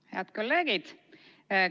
Head kolleegid!